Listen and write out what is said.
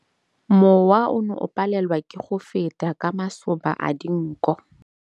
Mowa o ne o palelwa ke go feta ka masoba a dinko.